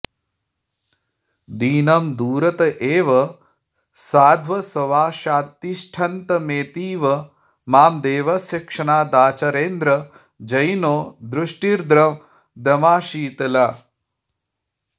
दीनं दूरत एव साध्वसवशात्तिष्ठन्तमेतीव मां देवस्य क्षणदाचरेन्द्रजयिनो दृष्टिर्दमाशीतला